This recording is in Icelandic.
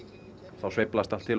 þá sveiflast allt til